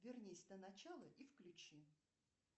вернись на начало и включи